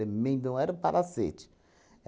Também não era um palacete.